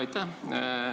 Aitäh!